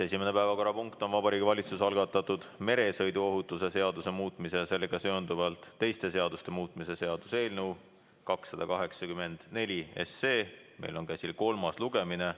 Esimene päevakorrapunkt on Vabariigi Valitsuse algatatud meresõiduohutuse seaduse muutmise ja sellega seonduvalt teiste seaduste muutmise seaduse eelnõu 284, meil on käsil selle kolmas lugemine.